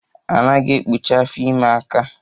A naghi ekpụchi afọ ime aka